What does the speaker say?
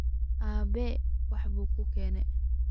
Aabe waxba kuugene.